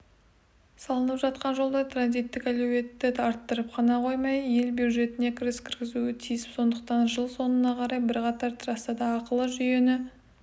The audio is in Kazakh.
салынып жатқан жолдар транзиттік әлеуетті арттырып қана қоймай ел бюджетіне кіріс кіргізуі тиіс сондықтан жыл соңына қарай бірқатар трассада ақылы жүйені